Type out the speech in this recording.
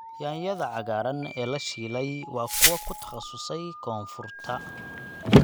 Yaanyada cagaaran ee la shiilay waa kuwo ku takhasusay koonfurta.